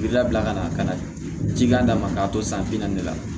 I labila ka na ka na ji k'a ma k'a to san bi naani